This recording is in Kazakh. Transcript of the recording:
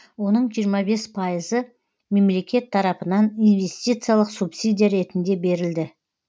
оның жиырма бес пайызы мемлекет тарапынан инвестициялық субсидия ретінде берілді